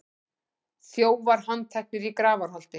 Þjófar handteknir í Grafarholti